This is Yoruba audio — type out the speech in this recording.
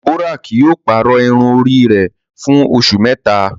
Deborah kii yóò pàrọ irun ori rẹ fun oṣu mẹta